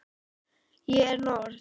Ég er norn.